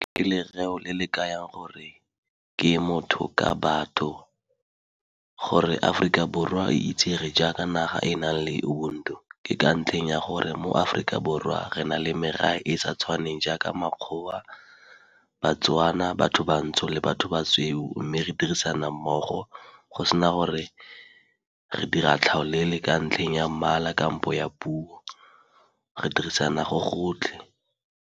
Ke lereo leo le le ka yang gore ke motho ka batho, gore Aforika Borwa e itsege jaaka naga e e nang le ubuntu. Ke ka ntlheng ya gore mo Aforika Borwa re na le merafe e e sa tshwaneng jaaka makgowa, baTswana, batho bantsho le batho ba sweu, mme re dirisana mmogo go sena gore re dira tlhaolele ka ntlheng ya mmala kampo ya puo. Re dirisana go gotlhe.